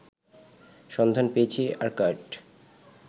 সন্ধান পেয়েছে অ্যাকর্ড